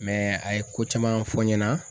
a ye ko caman fɔ n ɲɛna